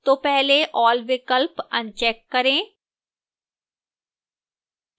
तो पहले all विकल्प अनचेक करें